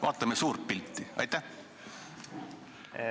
Vaatame suurt pilti!